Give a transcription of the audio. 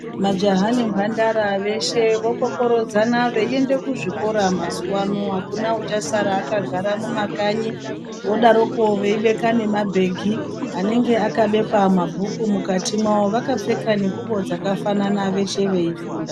Majaha nembandara veshe vokokorodzana veienda kuzvikora mazuva ano akuna achasara akagara mumakanyi vodaroko veibeka nemabhegi vanenge vakabeka mabhuku mukati mawo vakapfeka nenguwa dzakafanan veshe veifunda.